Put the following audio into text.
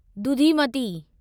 दुधीमती